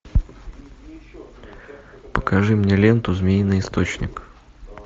покажи мне ленту змеиный источник